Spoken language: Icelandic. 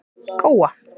Góa